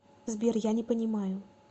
сбер я не понимаю